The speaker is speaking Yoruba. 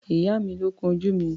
Ìyá mi ló kun ojú mi.